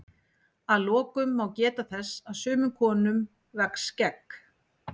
að lokum má geta þess að sumum konum vex skegg